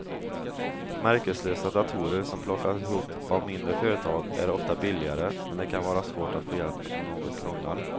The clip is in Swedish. Märkeslösa datorer som plockas ihop av mindre företag är ofta billigare men det kan vara svårt att få hjälp om något krånglar.